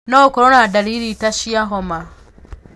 No ũkorwo na ndariri ta cia homa.